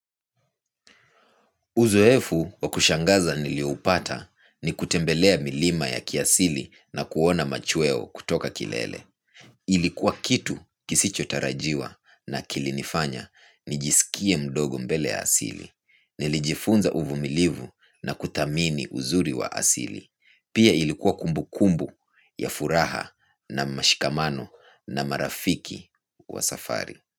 Uzoeefu wakushangaza niliupata ni kutembelea milima ya kiasili na kuona machueo kutoka kilele. Ilikuwa kitu kisicho tarajiwa na kilinifanya nijisikie mdogo mbele ya asili. Nilijifunza uvumilivu na kuthamini uzuri wa asili. Pia ilikua kumbukumbu ya furaha na mashikamano na marafiki wa safari.